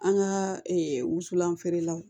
An ka wusulan feerelaw